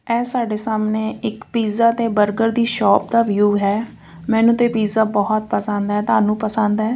ਆ ਸਾਡੇ ਸਾਹਮਣੇ ਇੱਕ ਪੀਜ਼ਾ ਤੇ ਬਰਗਰ ਦੀ ਸੋਪ ਦਾ ਵਿਊ ਹੈ ਮੈਨੂੰ ਤੇ ਪੀਜ਼ਾ ਬਹੁਤ ਪਸੰਦ ਆ ਤੁਹਾਨੂੰ ਪਸੰਦ ਆ।